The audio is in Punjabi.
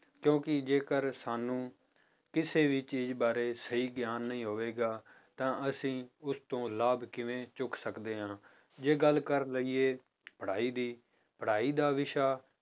ਕਿਉਂਕਿ ਜੇਕਰ ਸਾਨੂੰ ਕਿਸੇ ਵੀ ਚੀਜ਼ ਬਾਰੇ ਸਹੀ ਗਿਆਨ ਨਹੀਂ ਹੋਵੇਗਾ ਤਾਂ ਅਸੀਂ ਉਸ ਤੋਂ ਲਾਭ ਕਿਵੇਂ ਚੁੱਕ ਸਕਦੇ ਹਾਂ ਜੇ ਗੱਲ ਕਰ ਲਈਏ ਪੜ੍ਹਾਈ ਦੀ, ਪੜ੍ਹਾਈ ਦਾ ਵਿਸ਼ਾ